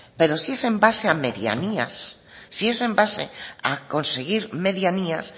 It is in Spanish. pero si es base a medianías si es en base a conseguir medianías